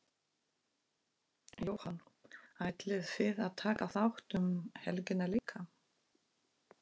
Jóhann: Ætlið þið að taka þátt um helgina líka?